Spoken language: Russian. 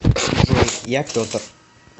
джой я петр